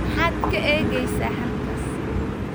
Maxaad ka eegaysaa halkaas?